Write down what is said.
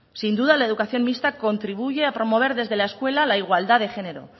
sin duda la educación mixta contribuye a promover desde la escuela la igualdad de género